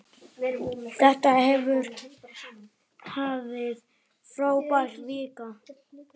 Þetta hefur verið frábær vika.